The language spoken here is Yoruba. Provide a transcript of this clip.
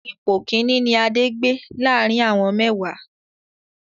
Ipò Kínní ni Adé gbé láàrín àwọn mẹ́wàá.